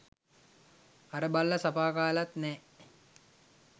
අර බල්ල සපා කාලත් නෑ.